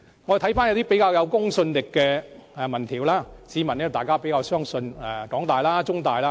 看回一些較有公信力的民調，市民大眾較相信香港大學、香港中文大學。